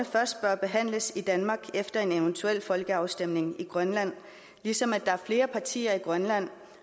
først bør behandles i danmark efter en eventuel folkeafstemning i grønland ligesom der er flere partier i grønland